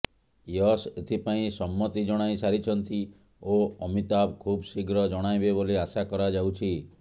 ଐଶ୍ ଏଥିପାଇଁ ସମ୍ମତି ଜଣାଇ ସାରିଛନ୍ତି ଓ ଅମିତାଭ ଖୁବ୍ ଶୀଘ୍ର ଜଣାଇବେ ବୋଲି ଆଶା କରାଯାଉଛି